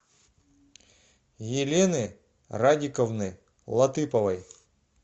елены радиковны латыповой